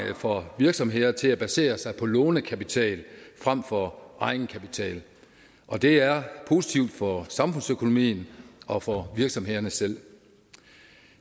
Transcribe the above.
for virksomheder til at basere sig på lånekapital frem for egenkapital og det er positivt for samfundsøkonomien og for virksomhederne selv